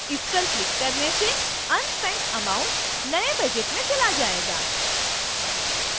इस पर क्लिक करने से unspent amounts नए budget में चला जाएगा